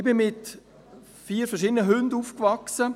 Ich wuchs mit vier verschiedenen Hunden auf.